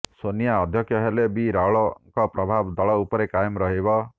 ସୋନିଆ ଅଧ୍ୟକ୍ଷ ହେଲେ ବି ରାହୁଳଙ୍କ ପ୍ରଭାବ ଦଳ ଉପରେ କାଏମ୍ ରହିବ